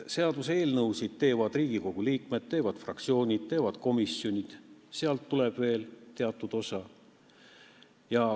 Seaduseelnõusid teevad Riigikogu liikmed, fraktsioonid ja komisjonid, st sealt tuleb veel teatud osa.